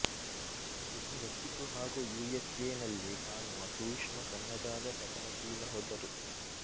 ಇದು ಮೆಕ್ಸಿಕೊ ಹಾಗೂ U S ಎನಲ್ಲಿ ಕಾಣುವ ಸೂಕ್ಷ್ಮ ಸಣ್ಣದಾದ ಪತನಶೀಲ ಹೊದರು